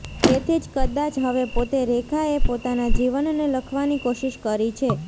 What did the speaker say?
તેથી જ કદાચ હવે પોતે રેખાએ પોતાના જીવનને લખવાની કોશિશ કરી છે